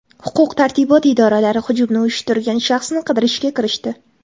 Huquq-tartibot idoralari hujumni uyushtirgan shaxsni qidirishga kirishdi.